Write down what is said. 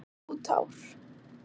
Ó tár.